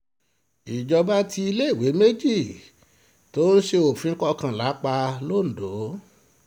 ìjọba tí iléèwé méjì tó ṣe sófin kọ́ńlá pa londo